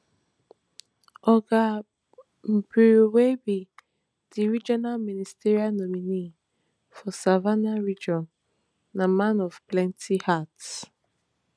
oga beawuribe di regional ministerial nominee for savannah region na man of many hats